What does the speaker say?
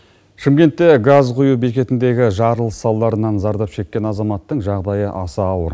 шымкентте газ құю бекетіндегі жарылыс салдарынан зардап шеккен азаматтың жағдайы аса ауыр